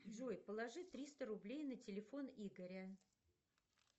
джой положи триста рублей на телефон игоря